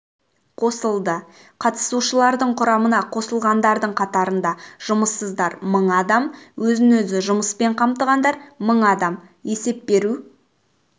қосылды қатысушылардың құрамына қосылғандардың қатарында жұмыссыздар мың адам өзін-өзі жұмыспен қамтығандар мың адам есеп беру